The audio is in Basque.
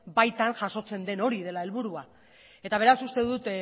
baitan jasotzen den hori dela helburua eta beraz uste dut